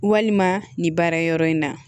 Walima nin baara yɔrɔ in na